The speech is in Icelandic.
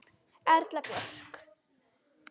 Erla Björk.